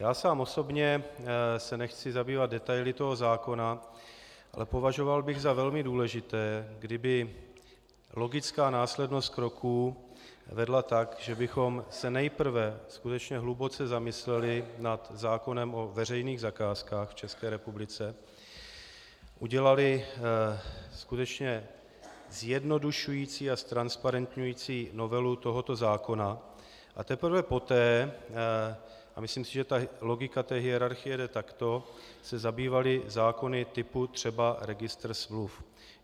Já sám osobně se nechci zabývat detaily toho zákona, ale považoval bych za velmi důležité, kdyby logická následnost kroků vedla tak, že bychom se nejprve skutečně hluboce zamysleli nad zákonem o veřejných zakázkách v České republice, udělali skutečně zjednodušující a ztransparentňující novelu tohoto zákona, a teprve poté, a myslím si, že ta logika té hierarchie jde takto, se zabývali zákony typu třeba registr smluv.